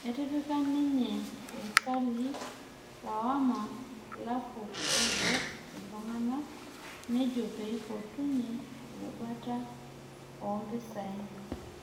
Nepikaki ninye irkali lawama ilaruok oibuk ilntugána nejo neipotunye erubata oompisai